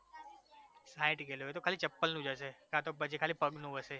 સાંઈઠ kilo એ તો ખાલી ચપ્પલનું જ હશે કાં તો પછી ખાલી પછી પગનું હશે